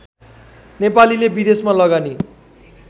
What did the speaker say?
नेपालीले विदेशमा लगानी